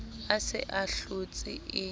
a se a hlotse e